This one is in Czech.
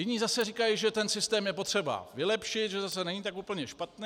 Jiní zase říkají, že ten systém je potřeba vylepšit, že zase není tak úplně špatný.